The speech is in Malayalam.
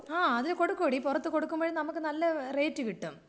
ആ അത് കൊടുക്കുമെഡി പുറത്തു കൊടുക്കുമ്പോഴ് നമ്മുക്ക് നല്ല റേറ്റ് കിട്ടും.